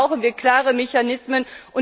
Dafür brauchen wir klare Mechanismen.